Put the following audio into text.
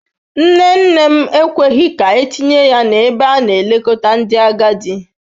Nne nne m ekweghị ka etinye ya n'ebe a na-elekọta ndị agadi.